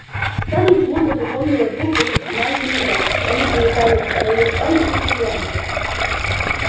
скарлетт смутно припомнила двух вышеназванных дам они приезжали на её свадьбу из атланты